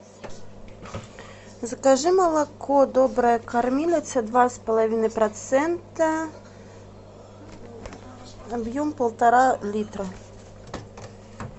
закажи молоко добрая кормилица два с половиной процента объем полтора литра